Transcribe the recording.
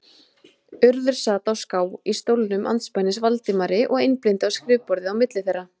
Urður sat á ská í stólnum andspænis Valdimari og einblíndi á skrifborðið á milli þeirra.